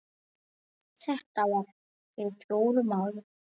Þetta var fyrir fjórum árum.